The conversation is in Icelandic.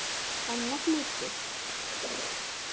Hennar hluti.